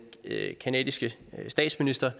canadiske statsminister